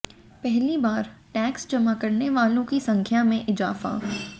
पहली बार टैक्स जमा करने वालों की संख्य में इजाफा